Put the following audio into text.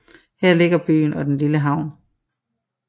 Her ligger byen og den lille havn